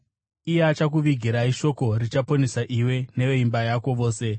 Iye achakuvigirai shoko richaponesa iwe neveimba yako vose.’